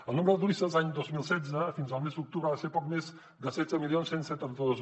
el nombre de turistes l’any dos mil setze fins al mes d’octubre va ser poc més de setze mil cent i setanta dos